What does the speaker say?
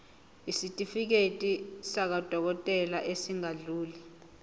isitifiketi sakwadokodela esingadluli